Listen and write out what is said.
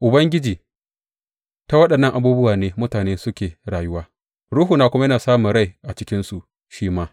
Ubangiji, ta waɗannan abubuwa ne mutane suke rayuwa; ruhuna kuma yana samun rai a cikinsu shi ma.